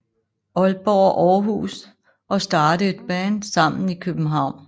Aalborg og Aarhus og starte et band sammen i København